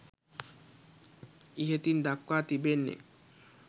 ඉහතින් දක්වා තිබෙන්නේ